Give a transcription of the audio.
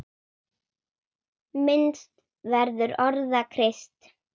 Minnst verður orða Krists.